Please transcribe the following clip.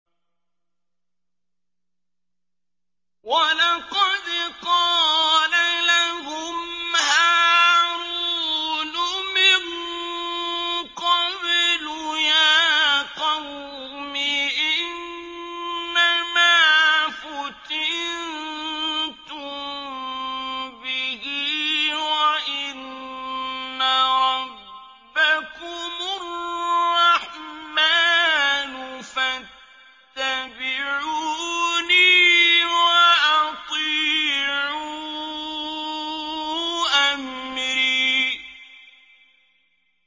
وَلَقَدْ قَالَ لَهُمْ هَارُونُ مِن قَبْلُ يَا قَوْمِ إِنَّمَا فُتِنتُم بِهِ ۖ وَإِنَّ رَبَّكُمُ الرَّحْمَٰنُ فَاتَّبِعُونِي وَأَطِيعُوا أَمْرِي